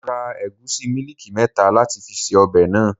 Mo ra ẹ̀gúsí mílíìkì mẹ́ta láti fi ṣe ọbẹ̀ náà.